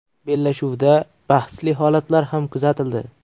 Bellashuvda bahsli holatlar ham kuzatildi.